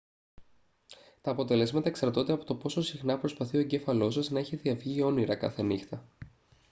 τα αποτελέσματα εξαρτώνται από το πόσο συχνά προσπαθεί ο εγκέφαλός σας να έχει διαυγή όνειρα κάθε νύχτα